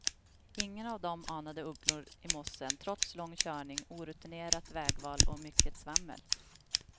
Ingen av dem anade ugglor i mossen trots lång körning, orutinerat vägval och mycket svammel.